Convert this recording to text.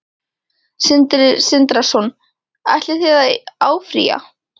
Sindri Sindrason: Ætlið þið að áfrýja?